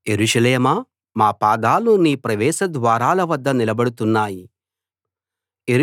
యెరూషలేమా మా పాదాలు నీ ప్రవేశ ద్వారాల వద్ద నిలబడుతున్నాయి